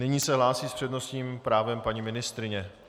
Nyní se hlásí s přednostním právem paní ministryně.